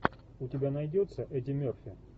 у тебя найдется эдди мерфи